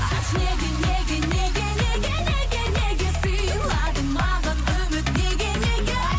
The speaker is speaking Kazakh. айтшы неге неге неге неге неге неге сыйладың маған үміт неге неге